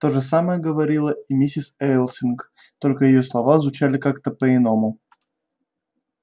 то же самое говорила и миссис элсинг только её слова звучали как-то по-иному